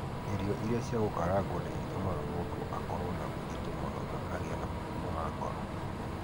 Irio iria cia gũkarangwo nĩ itũmaga mũndũ akorũo arĩ mũritũ mũno na agĩe na mũrimũ wa ngoro.